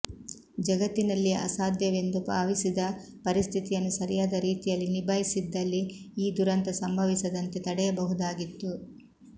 ಜಗತ್ತಿನಲ್ಲಿಯೇ ಅಸಾಧ್ಯವೆಂದು ಭಾವಿಸಿದ ಪರಿಸ್ಥಿತಿಯನ್ನು ಸರಿಯಾದ ರೀತಿಯಲ್ಲಿ ನಿಭಾಯಿಸಿದ್ದಲ್ಲಿ ಈ ದುರಂತ ಸಂಭವಿಸದಂತೆ ತಡೆಯಬಹುದಾಗಿತ್ತು